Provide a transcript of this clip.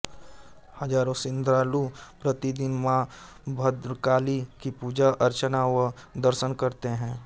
हजारों श्रद्धालु प्रतिदिन मां भद्रकाली की पूजा अर्चना व दर्शन करते हैं